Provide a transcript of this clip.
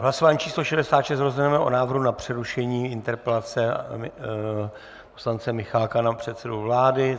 V hlasování číslo 66 rozhodneme o návrhu na přerušení interpelace poslance Michálka na předsedu vlády.